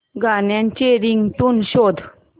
गाण्याची रिंगटोन शोध